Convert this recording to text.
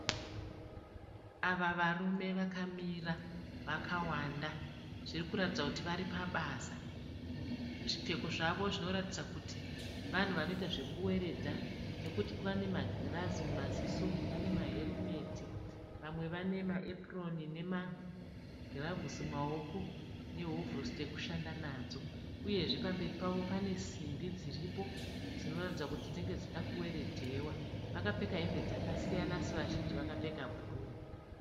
Ava varume vakamira vakawanda zviri kuratidza kuti vari pabasa zvipfeko zvavo zvinoratidza kuti vanhu vanoita zvekuweredha nekuti kuva nemagirazi mumaziso ane maherumeti vamwe vane maepuroni nemagiravhusi mumaoko nehovhorosi dzekushanda nadzo uyezve pamberi pavo pane simbi dziripo dzinoratidza kuti dzinenge dziri kuda kuweredhewa vakapfeka hembe dzakasiyana asi vazhinji vakapfeka bhuruu.